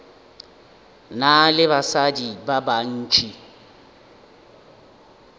na le basadi ba bantši